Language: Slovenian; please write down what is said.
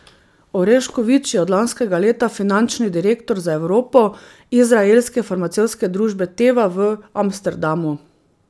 Orešković je od lanskega leta finančni direktor za Evropo izraelske farmacevtske družbe Teva v Amsterdamu.